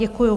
Děkuju.